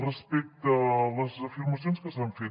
respecte a les afirmacions que s’han fet